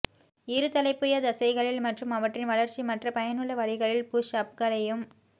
இருதலைப்புயத்தசைகளில் மற்றும் அவற்றின் வளர்ச்சி மற்ற பயனுள்ள வழிகளில் புஷ் அப்களையும்